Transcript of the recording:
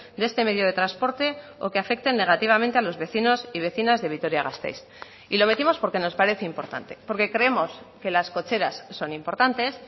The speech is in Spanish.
de este medio de transporte o que afecten negativamente a los vecinos y vecinas de vitoria gasteiz y lo metimos porque nos parece importante porque creemos que las cocheras son importantes